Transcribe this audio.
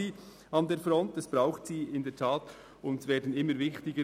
Sie werden durch die Migration und Integration immer wichtiger.